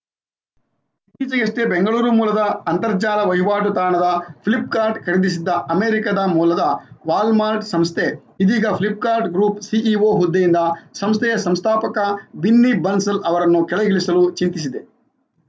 ಇತ್ತೀಚೆಗಷ್ಟೇ ಬೆಂಗಳೂರು ಮೂಲದ ಅಂತರ್ಜಾಲ ವಹಿವಾಟು ತಾಣವಾದ ಫ್ಲಿಪ್‌ಕಾರ್ಟ್‌ ಖರೀದಿಸಿದ್ದ ಅಮೆರಿಕದ ಮೂಲದ ವಾಲ್‌ಮಾರ್ಟ್‌ ಸಂಸ್ಥೆ ಇದೀಗ ಫ್ಲಿಪ್‌ಕಾರ್ಟ್‌ ಗ್ರೂಪ್‌ ಸಿಇಒ ಹುದ್ದೆಯಿಂದ ಸಂಸ್ಥೆಯ ಸಂಸ್ಥಾಪಕ ಬಿನ್ನಿ ಬನ್ಸಲ್‌ ಅವರನ್ನು ಕೆಳಗಿಳಿಸಲು ಚಿಂತಿಸಿದೆ